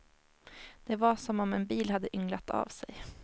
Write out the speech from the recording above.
Det var som om en bil hade ynglat av sig.